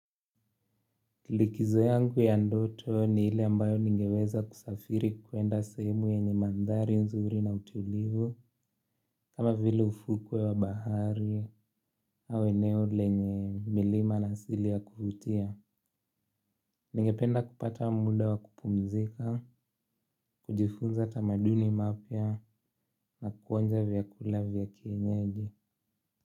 Likizo yangu ya ndoto ni ile ambayo ningeweza kusafiri kuenda sehemu yenye mandhari nzuri na utulivu, kama vile ufukwe wa bahari, au eneo lenye milima na asili ya kuvutia. Ningependa kupata muda wa kupumzika, kujifunza tamaduni mapya na kuonja vyakula vya kienyeji.